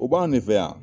O b'an ne fɛ yan